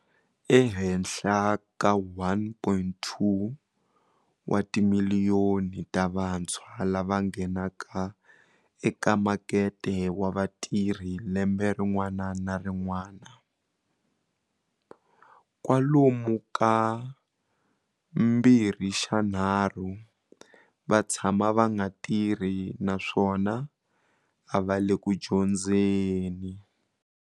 Ehenhla ka 1.2 wa timiliyoni ta vantshwa lava nghenaka eka makete wa vatirhi lembe rin'wana na rin'wana, kwalomu ka mbirhixanharhu va tshama va nga tirhi naswona a va le ku dyondzeni.